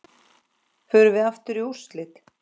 Förum við aftur í úrslit?